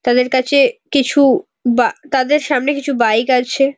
তাদের কাছে কিছু বা তাদের সামনে কিছু বাইক আছে।